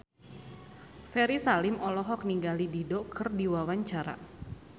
Ferry Salim olohok ningali Dido keur diwawancara